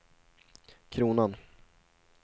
kronan